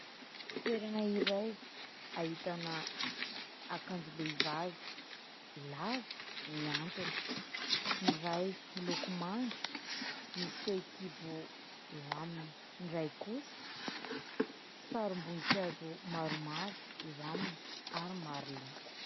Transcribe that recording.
Toerana iray ahitana akanjom-behivavy lava, mihantona. Ny iray miloko manga, misy fehinkibo eo aminy, ny iray kosa sarimbonin-kazo maromaro eo aminy, ary maro loko.